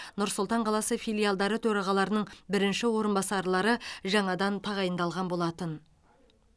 нұр сұлтан қаласы филиалдары төрағаларының бірінші орынбасарлары жаңадан тағайындалған болатын